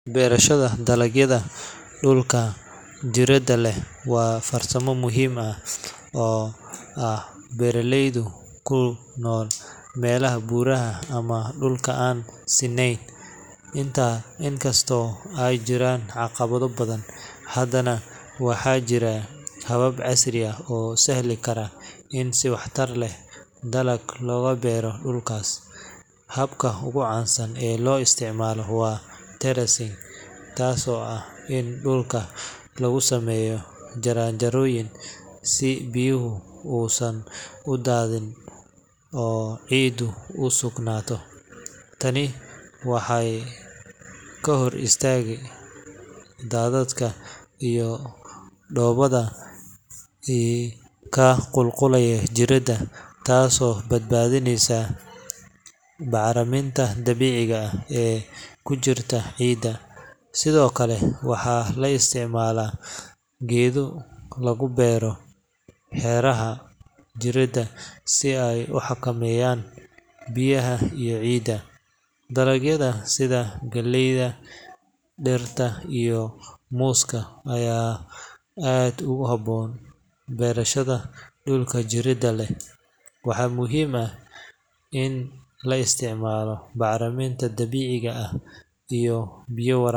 Beerashada dalagyada dhulka jiirada leh waa farsamo muhiim u ah beeraleyda ku nool meelaha buuraha ama dhulka aan sinnayn. Inkastoo ay jiraan caqabado badan, haddana waxaa jira habab casri ah oo sahli kara in si waxtar leh dalag looga beero dhulkaas. Habka ugu caansan ee loo isticmaalo waa terracing, taasoo ah in dhulka lagu sameeyo jaranjarooyin si biyaha uusan u daadin oo ciiddu u sugnaato. Tani waxay ka hortagtaa daadadka iyo dhoobada ka qulqulaya jiirada, taasoo badbaadinaysa bacriminta dabiiciga ah ee ku jirta ciidda. Sidoo kale, waxaa la isticmaalaa geedo lagu beero hareeraha jiirada si ay u xakameeyaan biyaha iyo ciidda. Dalagyada sida galleyda, digirta, iyo muuska ayaa aad ugu habboon beerashada dhulka jiirada leh. Waxaa muhiim ah in la isticmaalo bacriminta dabiiciga ah iyo biyo wara.